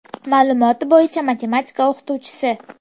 Ma’lumoti bo‘yicha matematika o‘qituvchisi.